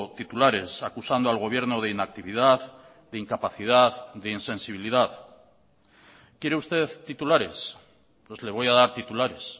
titulares acusando al gobierno de inactividad de incapacidad de insensibilidad quiere usted titulares pues le voy a dar titulares